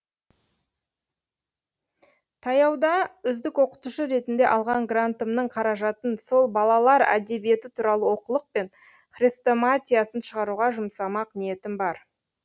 таяуда үздік оқытушы ретінде алған грантымның қаражатын сол балалар әдебиеті туралы оқулық пен хрестоматиясын шығаруға жұмсамақ ниетім бар